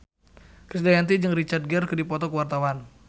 Krisdayanti jeung Richard Gere keur dipoto ku wartawan